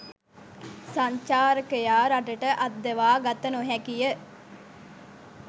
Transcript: සංචාරකයා රටට අද්දවා ගත නොහැකිය.